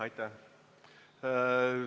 Aitäh!